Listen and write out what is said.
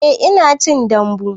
Eh ina cin dambu